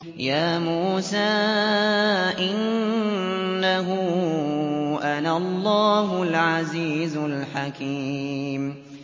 يَا مُوسَىٰ إِنَّهُ أَنَا اللَّهُ الْعَزِيزُ الْحَكِيمُ